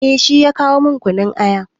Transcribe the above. Eh shi ya kawo min kunun aya.